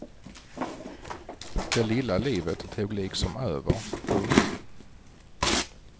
Det lilla livet tog liksom över. punkt